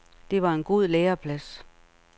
Det var en god læreplads.